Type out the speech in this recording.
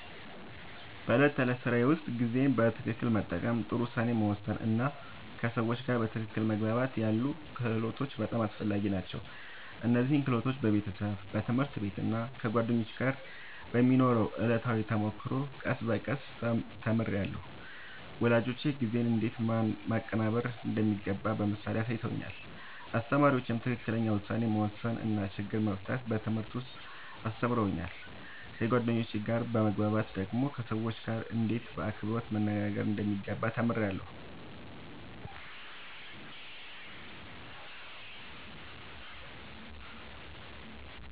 በዕለት ተዕለት ሥራዬ ውስጥ ጊዜን በትክክል መጠቀም፣ ጥሩ ውሳኔ መወሰን እና ከሰዎች ጋር በትክክል መግባባት ያሉ ክህሎቶች በጣም አስፈላጊ ናቸው። እነዚህን ክህሎቶች በቤተሰብ፣ በትምህርት ቤት እና ከጓደኞች ጋር በሚኖረው ዕለታዊ ተሞክሮ ቀስ በቀስ ተምሬያለሁ። ወላጆቼ ጊዜን እንዴት ማቀናበር እንደሚገባ በምሳሌ አሳይተውኛል፣ አስተማሪዎቼም ትክክለኛ ውሳኔ መወሰን እና ችግር መፍታት በትምህርት ውስጥ አስተምረውኛል። ከጓደኞቼ ጋር በመግባባት ደግሞ ከሰዎች ጋርእንዴት በአክብሮት መነጋገር እንደሚገባ ተምሬያለሁ።